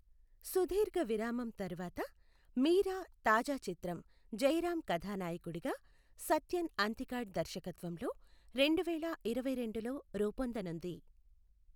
సుదీర్ఘ విరామం తర్వాత, మీరా తాజా చిత్రం జయరామ్ కథానాయకుడిగా, సత్యన్ అంతికాడ్ దర్శకత్వంలో రెండువేలఇరవైరెండులో రూపొందనుంది.